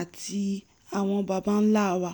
àti àwọn babańlá wa